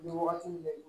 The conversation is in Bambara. Nin wagati in bɛɛ